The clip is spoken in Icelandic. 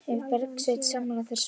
Er Bergsveinn sammála þeirri spá?